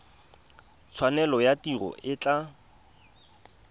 tshwanelo ya tiro e tla